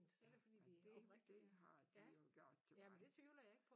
Ja og det det har de jo gjort til mig